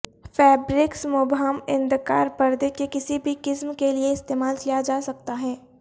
fabrics مبہم اندکار پردے کے کسی بھی قسم کے لئے استعمال کیا جا سکتا ہے